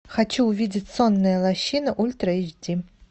хочу увидеть сонная лощина ультра эйч ди